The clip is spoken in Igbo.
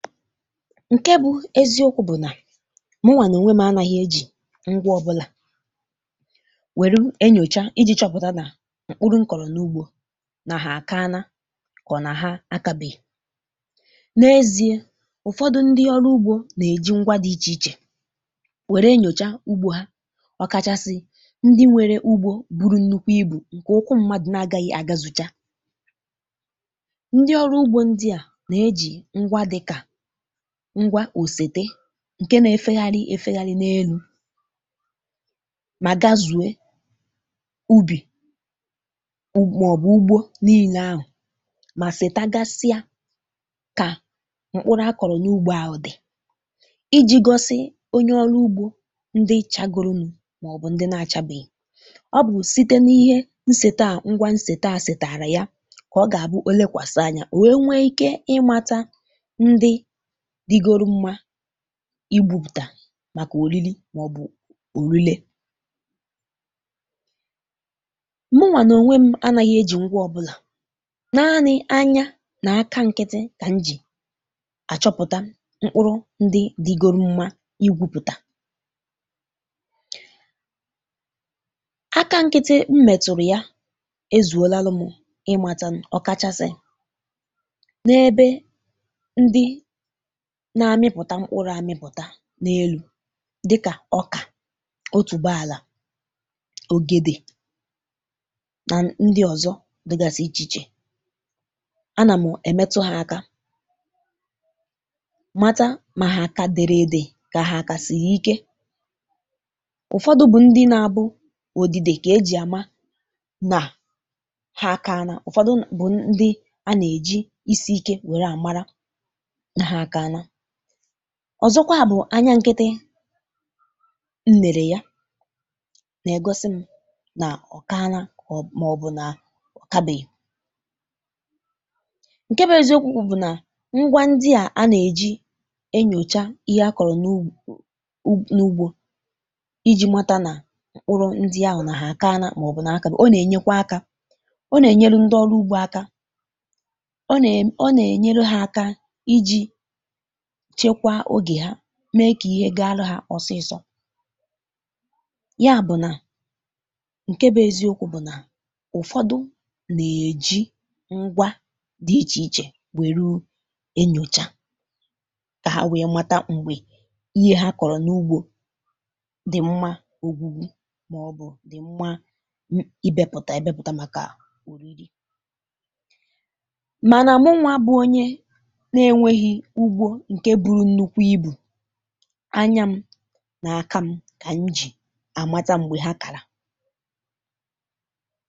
Ǹkè bụ eziọkwụ bụ nà mụwà nà ònwe m anaghị ejì ngwa ọbụlà nwèru enyocha iji chọpụta nà mkpụrụ nkọrọ n’ugbọ nà ha àkaana kà ọ nà ha akabèghị. N’eziè, ụfọdụ ndị ọrụ ugbọ nà-ejì ngwa dị iche iche nwère enyocha ugbọ ha, ọkàchàsị ndị nwere ugbọ buru nnukwu ibù; ǹkè ụkwụ mmadụ na-agaghị àgazụcha. Ndị ọrụ ugbọ ndị à nà-ejì ngwa dịkà ngwa òsète ǹkè nà-efegharị efegharị n’elu mà gazùe ubì màọbụ ugbọ niile ahụ mà sètagasịa kà mkpụrụ a kọrọ n’ugbọ ahụ dị, ijì gọsị onye ọrụ ugbọ ndị chagụrụnụ màọbụ ndị na-achabeghị. Ọ bụ site n’ihe nsète à; ngwa nsète a sètàrà ya kà ọ gà-àbụ èlekwàsị anya ò wee nweike ị mata ndị dịgoro mma igwupụta màkà òriri màọbụ òrile. Mụwà nà onwe m anaghị ejì ngwa ọbụlà, naanị anya nà aka nkịtị kà m jì achọpụta mkpụrụ ndị dịgoro mma igwupụta. Aka nkịtị m mètụrụ ya ezùolalụ m ịmata, ọkàchasị n’ebe ndị na-amịpụta mkpụrụ amịpụta n’elu dịkà ọkà, otùbààlà, ogede nà ndị ọzọ dịgasị iche iche. Ana mụ èmetụ ha aka mata mà ha ka derede kà ha ka sìri ike; ụfọdụ bụ ndị na-abụ òdìdè kà ejì àma nà ha kaanà, ụfọdụ bụ ndị a nà-ejì isi ike wère àmara nà ha kaanà. Ọzọkwa bụ anya nkịtị nnère ya nà-ègosi m nà ọkaana maọbụ nà ọkabèghị. Ǹkè bụ eziọkwụ bụ nà ngwa ndị à a nà-ejì enyòcha ihe a kọrọ n’ugbọ ijì mata nà mkpụrụ ndị ahụ nà ha kaana maọbụ na ha kabèghị. Ọ nà-enyekwa aka; ọ nà-enyelu ndị ọrụ ugbọ aka; ọ nà, ọ nà-enyelu ha aka iji chekwaa ogè ha mee kà ihe ga-alụ ha ọsịsọ. Ya bụ nà ǹkè bụ eziọkwụ bụ nà ụfọdụ nà-ejì ngwa dị iche iche wèru enyòcha kà ha wee mata m̀gbè ihe ha kọrọ n’ugbọ dị mma ògwùgwù màọbụ dị mma ịbèpụta ebèpụta màkà òriri mànà mụwà bụ onye n'enweghị ugbọ nke buru nnukwu ibù, anya m nà aka m, kà m ji àmata m̀gbè ha kàla.